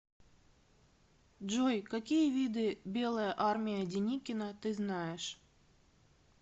джой какие виды белая армия деникина ты знаешь